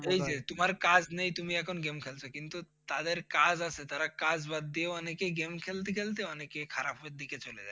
এই যে তোমার কাজ নেই তুমি এখন game খেলছো কিন্তু যাদের কাজ আছে তারা কাজ বাদ দিয়েও অনেকে game খেলতে খেলতে অনেকে খারাপের দিকে চলে যায়।